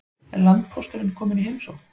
Er landpósturinn kominn í heimsókn?